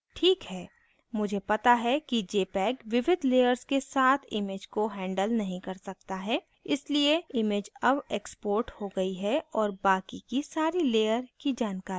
ठीक है मुझे पता है कि jpeg विविध layers के साथ image को handle नहीं कर सकता है इसलिए image अब exported हो गयी है और बाकी की सारी layer की जानकारियाँ लुप्त हो गयी हैं